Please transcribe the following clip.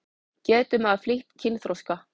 Getur maður flýtt kynþroska?